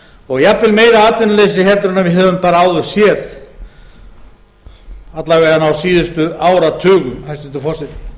og jafnvel meira atvinnuleysi heldur en við höfum bara áður séð alla vegana á síðustu áratugum hæstvirtur forseti